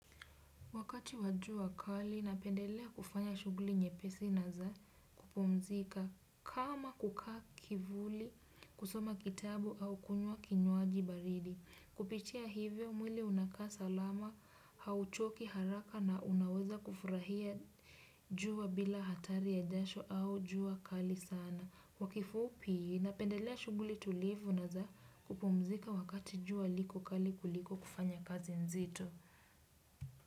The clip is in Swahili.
Wakati wa jua kali, napendelea kufanya shughuli nyepesi na za kupumzika kama kukaa kivuli kusoma kitabu au kunywa kinywaji baridi. Kupitia hivyo mwili unakaa salama, hauchoki haraka na unaweza kufurahia jua bila hatari ya jasho au jua kali sana. Kwa kifupi, napendelea shughuli tulivu na za kupumzika wakati jua liko kali kuliko kufanya kazi nzito.